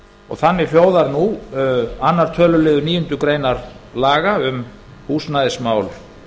og þannig hljóðar nú annar töluliður níundu grein laga um húsnæðismál